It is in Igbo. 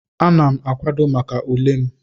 Ana m akwado maka ule m.